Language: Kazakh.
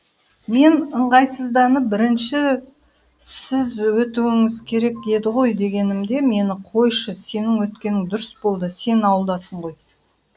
мен ыңғайсызданып бірінші сіз өтіуіңіз керек еді ғой дегенімде мені қойшы сенің өткенің дұрыс болды сен ауылдасың ғой